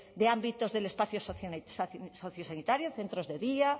de ámbitos del espacio sociosanitario centros de día